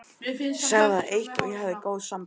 Sagði það eitt að ég hefði góð sambönd.